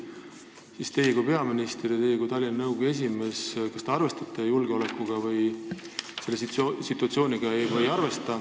Kas teie kui peaminister ja Tallinna nõukogu esimees arvestate või ei arvesta julgeolekusituatsiooniga?